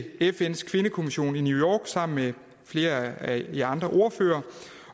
fns kvindekommissions samling i new york sammen med flere af de andre ordførere